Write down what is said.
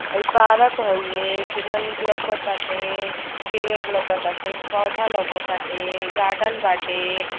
हई पारक हउए। केतना नीक लउकटाते। पेड़ लउकटाते पौधा लउकटाते। गार्डन बाटे।